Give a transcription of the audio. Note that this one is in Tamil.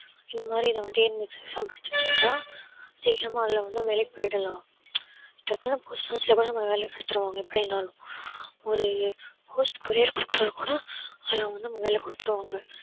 இந்தமாறி நான் வந்து TNPSC exam படிச்சுட்டு தான் சீக்கரமா அதுலவந்து வேலைக்கு போயிடலாம் அதுக்கப்பறம் post office ல கூட வேலைக்கு எடுத்துருவாங்க எப்படினாலும் ஒரு post courier கொடுத்தாலும் கூட அதுல வந்து வேலை குடுத்துருவாங்க